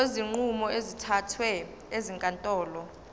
kwezinqumo ezithathwe ezinkantolo